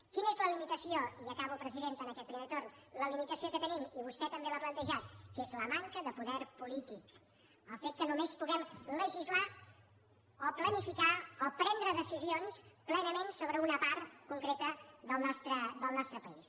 quina és la limitació i acabo presidenta en aquest primer torn que tenim i vostè també l’ha plantejat és la manca de poder polític el fet que només puguem legislar o planificar o prendre decisions plenament sobre una part concreta del nostre país